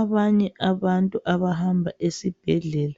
Abanye abantu abahamba esibhedlela,